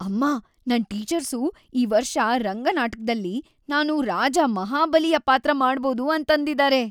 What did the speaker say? ಅಮ್ಮಾ, ನನ್ ಟೀಚರ್ಸು ಈ ವರ್ಷ ರಂಗ ನಾಟಕ್ದಲ್ಲಿ ನಾನು ರಾಜ ಮಹಾಬಲಿಯ ಪಾತ್ರ ಮಾಡ್ಬೋದು ಅಂತಂದಿದಾರೆ.